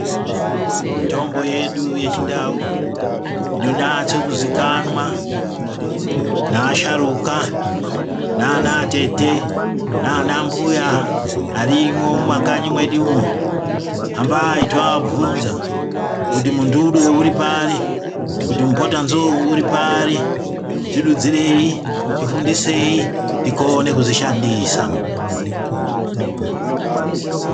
Mitombo yedu yechindau inonyatsozikanwa naasharukwa nanatete nanambuya arimo mumakanyi medumo hambai tovabvunza kuti muturu uri pari kuti mupota nzou uri pari tidudzirei tifundisei tikone kuzvishandisa